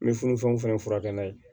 N bɛ funufunu fɛn furakɛ n'a ye